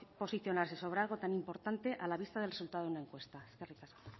posicionarse sobre algo tan importante a la vista del resultado de una encuesta eskerrik asko